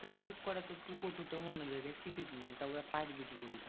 তা ঠিক করা তা তুকে তো অন্য জায়গায় শিখিসনি। তা ওগুলা পারবি কি করে?